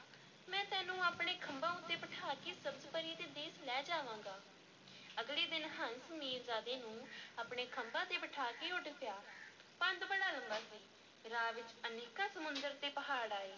ਮੈਂ ਤੈਨੂੰ ਆਪਣੇ ਖੰਭਾਂ ਉੱਤੇ ਬਿਠਾ ਕੇ ਸਬਜ਼-ਪੁਰੀ ਦੇ ਦੇਸ ਲੈ ਜਾਵਾਂਗਾ, ਅਗਲੇ ਦਿਨ ਹੰਸ ਮੀਰਜ਼ਾਦੇ ਨੂੰ ਆਪਣੇ ਖੰਭਾਂ ਤੇ ਬਿਠਾ ਕੇ ਉੱਡ ਪਿਆ, ਪੰਧ ਬੜਾ ਲੰਮਾ ਸੀ ਰਾਹ ਵਿੱਚ ਅਨੇਕਾਂ ਸਮੁੰਦਰ ਤੇ ਪਹਾੜ ਆਏ।